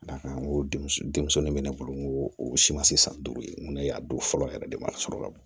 Ka d'a kan n ko denmuso de bɛ ne bolo n ko o si ma se san duuru ye n ko ne y'a don fɔlɔ yɛrɛ de ma sɔrɔ ka bon